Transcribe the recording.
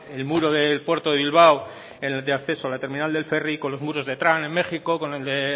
el muro del puerto de bilbao en el acceso de la terminal del ferri con los muros de trump en méxico con el de